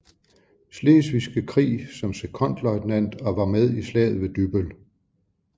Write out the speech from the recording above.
Slesvigske Krig som sekondløjtnant og var med i Slaget ved Dybbøl